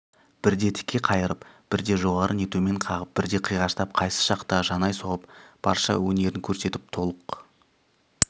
бірде тіке қайырып бірде жоғары не төмен қағып бірде қиғаштап қайсы шақта жанай соғып барша өнерін көрсетіп толық